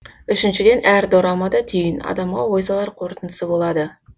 үшіншіден әр дорамада түйін адамға ой салар қорытындысы болады